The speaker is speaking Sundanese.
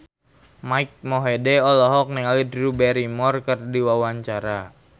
Mike Mohede olohok ningali Drew Barrymore keur diwawancara